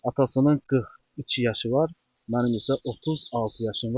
Atasının 42 yaşı var, mənim isə 36 yaşım var.